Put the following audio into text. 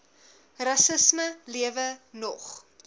rassisme lewe nog